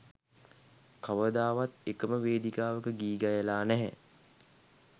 කවදාවත් එකම වේදිකාවක ගී ගයලා නැහැ.